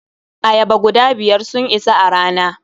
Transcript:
Ayaba guda biyar sun isa a rana.